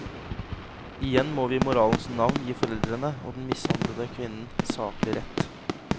Igjen må vi i moralens navn gi foreldrene og den mishandlede kvinnen saklig rett.